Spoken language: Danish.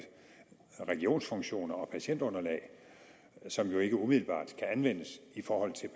regionsfunktioner og patientunderlag som jo ikke umiddelbart kan anvendes i forhold til